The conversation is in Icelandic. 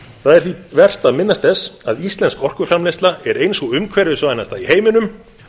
það er því vert að minnast þess að íslensk orkuframleiðsla er ein sú umhverfisvænsta í heiminum